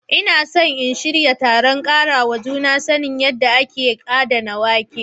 Ina so in shirya taron karawa juna sani kan yadda ake adana wake.